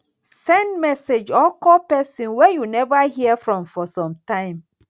send message or call persin wey you never hear from for some time